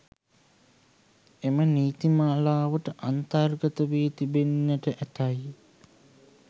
එම නීති මාලාවට අන්තර්ගත වී තිබෙන්නට ඇතැයි